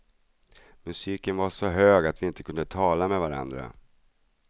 Musiken var så hög att vi inte kunde tala med varandra.